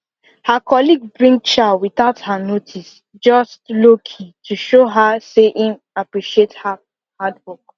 her colleague bring chow without her notice just lowkey to show her say im appreciate her hardwork